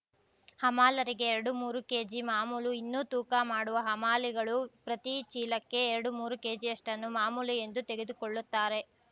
ಹಮಾಲರಿಗೆ ಎರಡುಮೂರು ಕೇಜಿ ಮಾಮೂಲು ಇನ್ನು ತೂಕ ಮಾಡುವ ಹಮಾಲಿಗಳು ಪ್ರತಿ ಚೀಲಕ್ಕೆ ಎರಡುಮೂರು ಕೆಜಿಯಷ್ಟನ್ನು ಮಾಮೂಲು ಎಂದು ತೆಗೆದುಕೊಳ್ಳುತ್ತಾರೆ